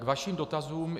K vašim dotazům.